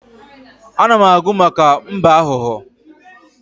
Ana m agụ maka mbe aghụghọ.